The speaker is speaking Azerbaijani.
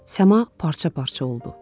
Səma parça-parça oldu.